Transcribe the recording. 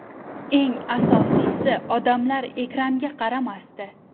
Eng asosiysi odamlar ekranga qaramasdi.